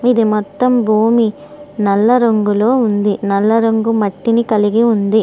ఇది మొత్తం భూమి నల్ల రంగులో ఉంది. నల్ల రంగు మట్టిని కలిగి ఉంది.